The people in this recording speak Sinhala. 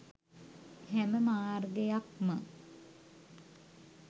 හැම මාර්ගයක්ම